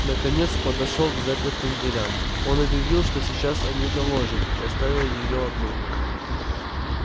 наконец подошёл к запертым дверям он объявил что сейчас о ней доложит и оставил её одну